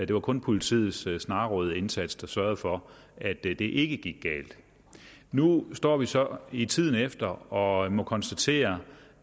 det var kun politiets snarrådige indsats der sørgede for at det det ikke gik galt nu står vi så i tiden efter og må konstatere